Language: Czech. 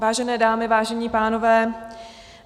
Vážené dámy, vážení pánové.